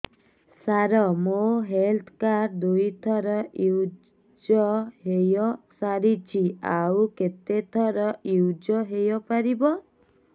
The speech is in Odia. ସାର ମୋ ହେଲ୍ଥ କାର୍ଡ ଦୁଇ ଥର ୟୁଜ଼ ହୈ ସାରିଛି ଆଉ କେତେ ଥର ୟୁଜ଼ ହୈ ପାରିବ